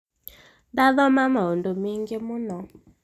ndathoma maudu maingi muno